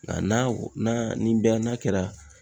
Nga n'a u n'a nin bɛɛ n'a kɛra